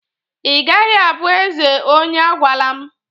Ị gaghị abụ eze onye agwalam!